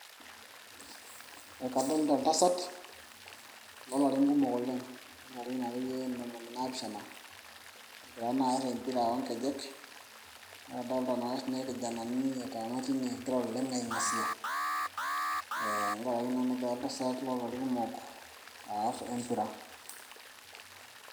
ekadolita oltasat loolarin kumok oleng loolarin akeyie ntomoni naapishana egira naa aar empira oonkejek adolita naake siininye irkijanani etaana tine egira oleng aing'asia ee tenkarake naa negira oltasat loo larin kumok aarr empira.